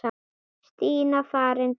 Stína farin, dáin.